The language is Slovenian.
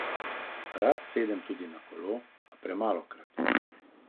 Rad sedem tudi na kolo, a premalokrat.